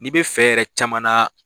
N'i bɛ fɛ yɛrɛ caman na